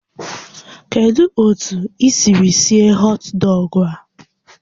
Kedu otu i siri sie họt dọgụ a?